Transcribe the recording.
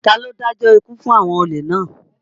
Ta ló dájọ́ ikú fún àwọn olè náà?